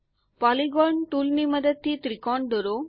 polygon ટુલની મદદથી ત્રિકોણ દોરો